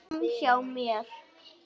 Framhjá mér.